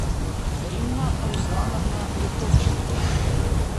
римма руслановна литовченко